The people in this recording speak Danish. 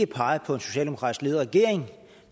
pege på en socialdemokratisk ledet regering